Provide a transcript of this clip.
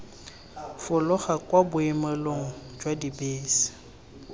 fologa kwa boemelong jwa dibese